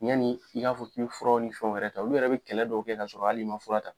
Yanni i k'a fɔ k'i bɛ furaw ni fɛnw wɛrɛ ta olu yɛrɛ bɛ kɛlɛ dɔ kɛ kasɔrɔ hali i ma fura ta